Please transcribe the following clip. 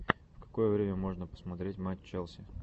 в какое время можно посмотреть матч челси